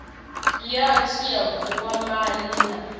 ya dti ya vhukwamani na